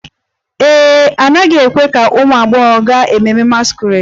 Ee e, a naghị ekwe ka ụmụ agbọghọ gaa ememme masquerade